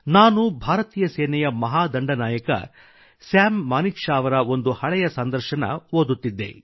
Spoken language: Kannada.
ನಾನು ಭಾರತೀಯ ಸೇನೆಯ ಮಹಾದಂಡನಾಯಕ ಮಹಾನ್ ಸೈನ್ಯಾಧಿಕಾರಿ ಸ್ಯಾಮ್ ಮಾನಿಕ್ಶಾ ಅವರ ಒಂದು ಹಳೆಯ ಸಂದರ್ಶನ ಓದುತ್ತಿದ್ದೆ